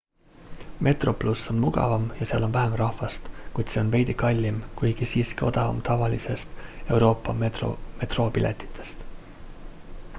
metroplus on mugavam ja seal on vähem rahvast kuid see on veidi kallim kuigi siiski odavam tavalistest euroopa metroopiletitest